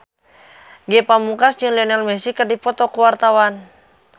Ge Pamungkas jeung Lionel Messi keur dipoto ku wartawan